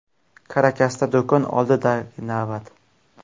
Karakasda do‘kon oldidagi navbat.